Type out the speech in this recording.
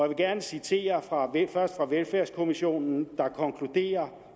vil gerne citere fra først velfærdskommissionen der konkluderer